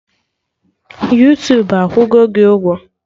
Yuutubu akwụgo gị ụgwọ?